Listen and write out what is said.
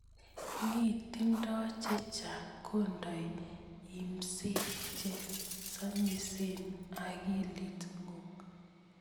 Ngi tindoi chechang, kondei imseet che samisen ing akilit ngung.